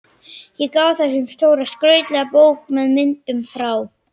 Ég gaf þeim stóra og skrautlega bók með myndum frá